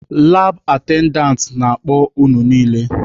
Labụ atendantị na-akpọ unu niile!